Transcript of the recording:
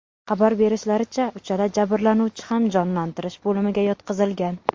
Xabar berishlaricha, uchala jabrlanuvchi ham jonlantirish bo‘limiga yotqizilgan.